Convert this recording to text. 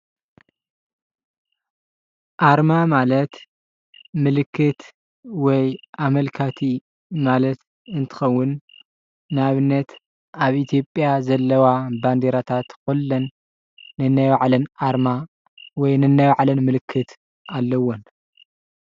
አርማ ማለት ምልክት ወይ አመልካቲ ማለት እንትከውን ንአብነት አብ ኢትዮጲያ ዘለዎ ባንዴራታት ኩለን ነናይ ባዕለን አርማ ወይ ነናይ ባዕለን ምልክት አለዎን፡፡